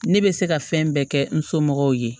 Ne bɛ se ka fɛn bɛɛ kɛ n somɔgɔw ye